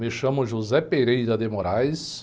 Me chamo.